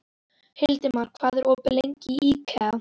Hildimar, hvað er opið lengi í IKEA?